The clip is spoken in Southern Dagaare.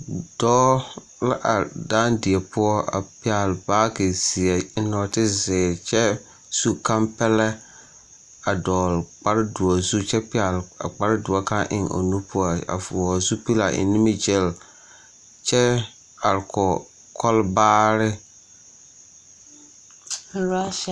Dɔɔ la are dãã die poɔ a pɛgele baagi zeɛ a eŋ nɔɔte zeere kyɛ su kampɛlɛ a dɔɔle kpare doɔ zu kyɛ pɛgele a kpare doɔ kaŋa eŋ o nu poɔ a vɔɔle zupili a eŋ nimigilli kyɛ are kɔge kɔlbaare.